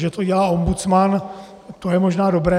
Že to dělá ombudsman, to je možná dobré.